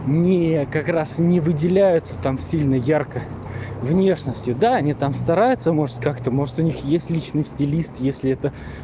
не как раз не выделяются там сильно ярко внешностью да они там стараются может как-то может у них есть личный стилист если это